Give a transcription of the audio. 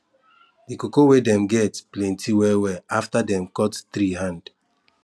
the cocoa wey dem get plenty well well after dem cut tree hand